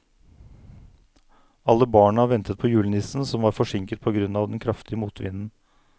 Alle barna ventet på julenissen, som var forsinket på grunn av den kraftige motvinden.